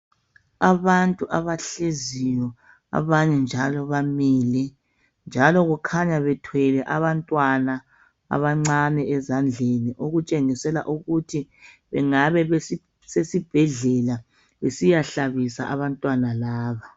Abantu abahleziyo abanye njalo bamile njalo kukhanya bethwele abantwana abancane ezandleni okutshengisela ukuthi bengabe besesibhedlela besiyahlabisa abantwana laba.